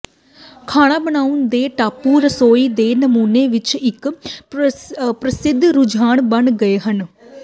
ਖਾਣਾ ਬਣਾਉਣ ਦੇ ਟਾਪੂ ਰਸੋਈ ਦੇ ਨਮੂਨੇ ਵਿਚ ਇਕ ਪ੍ਰਸਿੱਧ ਰੁਝਾਨ ਬਣ ਗਏ ਹਨ